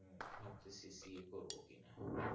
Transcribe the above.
ভাবতেছি CA করবো কি না